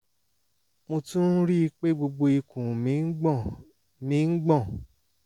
mo tún ń rí i pé gbogbo ikùn mi ń gbọ̀n mi ń gbọ̀n